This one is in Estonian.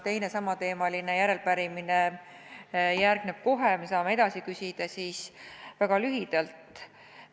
Kuna teine samateemaline järelepärimine järgneb kohe ja me saame edasi küsida, siis räägin väga lühidalt.